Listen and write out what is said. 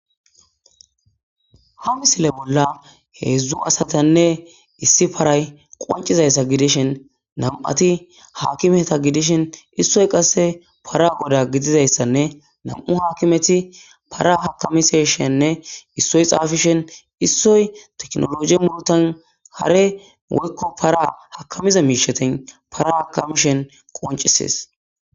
Ha misile bollan hezhzhu asatine issi paray qoncizaysa gidishin nam'ati akimeta gidishin issoy qase para goda gidizaysane nam'u akimeti para akimishene issoy xafishin issoy